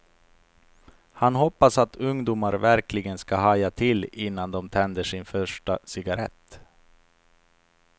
Han hoppas att ungdomar verkligen ska haja till innan de tänder sin första cigarett.